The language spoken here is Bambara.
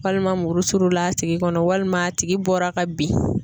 Walima muru surula a tigi kɔnɔ walima a tigi bɔra ka bin.